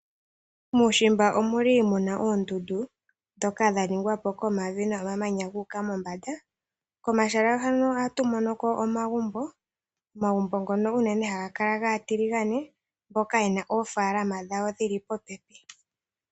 Muushimba omu na uundundu ndhoka dha ningwa po komavi nomamanya gu uka mombanda. Komahala ngano ohatu mono ko omagumbo, omagumbo ngono unene ohaga kala gaatiligane mboka ye na oofaalama dhawo dhi li popepi.